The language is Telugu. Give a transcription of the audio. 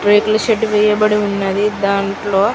రేకుల షెడ్ వేయబడి ఉన్నది దాంట్లో --.